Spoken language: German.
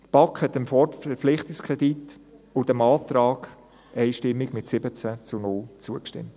Die BaK hat dem Verpflichtungskredit und dem Antrag einstimmig mit 17 zu 0 zugestimmt.